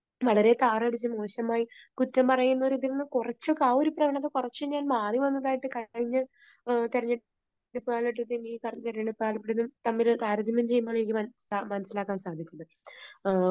വളരെ താറടിച്ച് മോശമായി കുറ്റം പറയുന്നവരെ ഇതിൽ നിന്ന് കുറച്ച്, കുറച്ചൊക്കെ ഒരു പ്രവണത കുറച്ച് ഞാൻ മാറി വന്നതായിട്ട് കഴിഞ്ഞ തെരഞ്ഞെടുപ്പ് കാലഘട്ടത്തിൽ ഈ തെരഞ്ഞെടുപ്പ് കാലഘട്ടവും തമ്മിൽ താരതമ്യം ചെയ്യുമ്പോൾ എനിക്ക് മനസ്സിലാക്കാൻ സാധിച്ചിട്ടുണ്ട്.